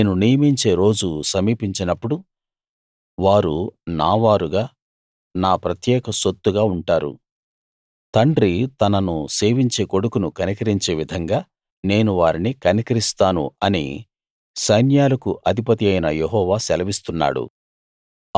నేను నియమించే రోజు సమీపించినప్పుడు వారు నావారుగా నా ప్రత్యేక సొత్తుగా ఉంటారు తండ్రి తనను సేవించే కొడుకును కనికరించే విధంగా నేను వారిని కనికరిస్తాను అని సైన్యాలకు అధిపతియైన యెహోవా సెలవిస్తున్నాడు